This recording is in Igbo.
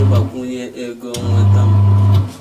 ịgbakwunye ego nnweta m.